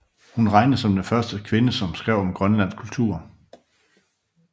Hun regnes som den første kvinde som skrev om grønlands kultur